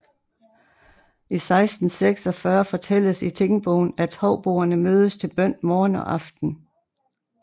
I 1646 fortælles i tingbogen at houboerne mødes til bøn morgen og aften